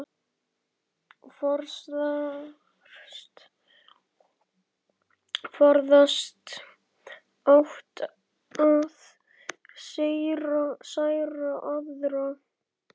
Forðast átti að særa aðra.